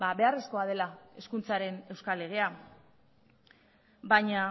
beharrezkoa dela hezkuntzaren euskal legea baina